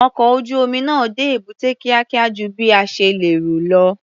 Ọkọ̀ ojú-omi náà dé èbúté kíákíá ju bí a ṣe lérò lọ.